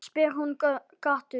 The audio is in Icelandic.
spyr hún gáttuð.